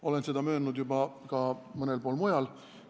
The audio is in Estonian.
Olen seda möönnud juba ka mõnel pool mujal.